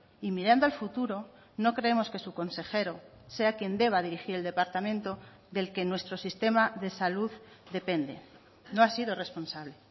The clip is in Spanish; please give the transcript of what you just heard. y mirando al futuro no creemos que su consejero sea quien deba dirigir el departamento del que nuestro sistema de salud depende no ha sido responsable